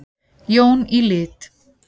Jón í lit.